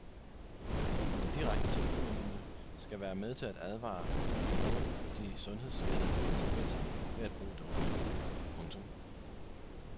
En direkte telefonlinie skal være med til at advare mod de sundhedsskadelige konsekvenser ved at bruge doping. punktum